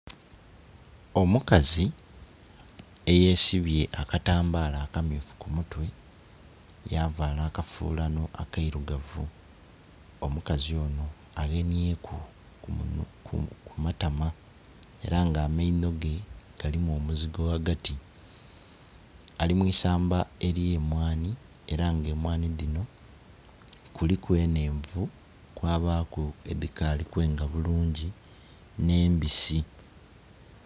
Omukaze eyesibye akatambala akammyufu kumutwe yavala akafulano akairugavu. Omukazi ono awenyeku kumatama era nga amainoge galimu omuzigo wagati, alimwiisamba eryemwani era nga emwani dhino kuliku enhenvu kwabaku edhikali kwenga bulungi n'embisi.